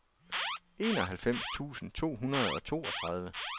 enoghalvfems tusind to hundrede og toogtredive